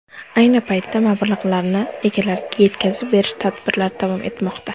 Ayni paytda mablag‘larni egalariga yetkazib berish tadbirlari davom etmoqda.